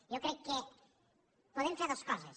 jo crec que podem fer dues coses